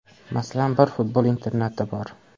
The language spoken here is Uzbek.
Masalan, bir futbol internati bor.